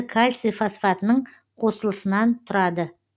кальций фосфатының қосылысынан тұрады